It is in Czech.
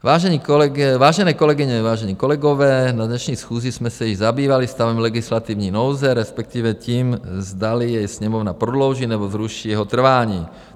Vážené kolegyně, vážení kolegové, na dnešní schůzi jsme se již zabývali stavem legislativní nouze, respektive tím, zdali jej Sněmovna prodlouží, nebo zruší jeho trvání.